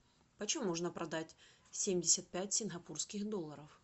почем можно продать семьдесят пять сингапурских долларов